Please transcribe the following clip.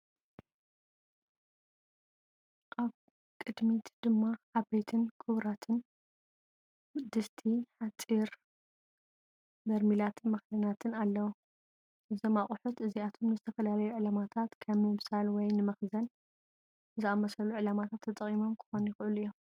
ኣብ ቅድሚት ድማ ዓበይትን ክቡራትን ድስቲ ሓጺን፡ በርሚላትን መኽደኒታትን ኣለዉ። እዞም ኣቑሑት እዚኣቶም ንዝተፈላለዩ ዕላማታት ከም ምብሳል ወይ ንመኽዘን ዝኣመሰሉ ዕላማታት ተጠቒሞም ክኾኑ ይኽእሉ እዮም።